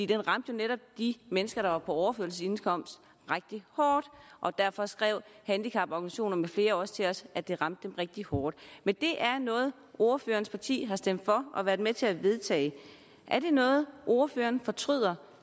den ramte jo netop de mennesker der var på overførselsindkomst rigtig hårdt og derfor skrev handicaporganisationer med flere også til os at det ramte dem rigtig hårdt men det er noget ordførerens parti har stemt for og været med til at vedtage er det noget ordføreren fortryder